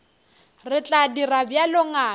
re tla dira bjalo ngaka